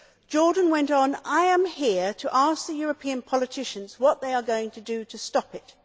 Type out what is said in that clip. Jordan went on, I am here to ask the European politicians what they are going to do to stop it'.